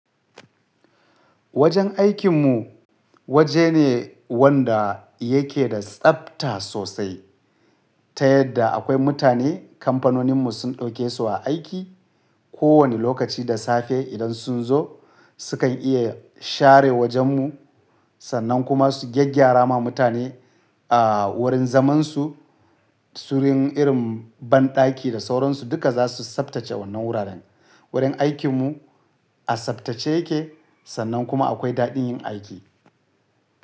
Wajen aikin mu waje ne wanda yake da tsabta sosai. Ta yadda akwai mutane kamfanonin mu sun ɗauke su a aiki. Ko wane lokaci da safe idan sun zo sukan iya share wajen mu sannan kuma su gyaggyara ma mutane a wurin zaman su, su wuri irin banɗaki da sauransu duka zasu tsabtace wannan wuraren. Wurin aikin mu a tsabtace yake sannan kuma akwai daɗin yin aiki.